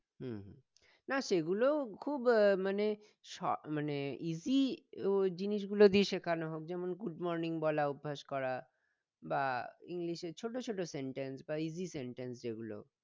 উম না সেগুলোও খুব মানে স মানে easy জিনিসগুলো দিয়ে শেখান হোক যেমন good morning বলা অভ্যাস করা বা english এ ছোট ছোট sentence বা easy sentence যেগুলো